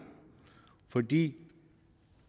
fordi